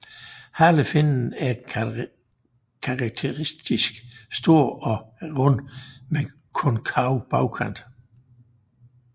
Halefinnen er karakteristisk stor og rund med konkav bagkant